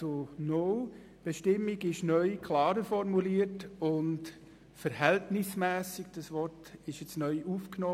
Die neue Bestimmung ist klarer formuliert, und das Wort «verhältnismässig» wurde neu aufgenommen.